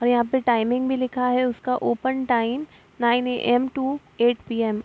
और यहाँ पे टाइमिंग भी लिखा है उसका open time nine AM. To eight PM..